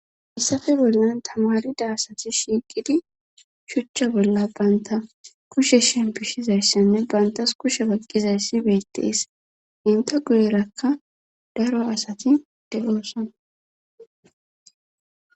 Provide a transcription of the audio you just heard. Issafe bolan tamarida asati shiiqidi shuchcha bolla banta kushe shempishizayssanne bantas kushe baqqizayssi beetees inta guderakka daro asati deloossan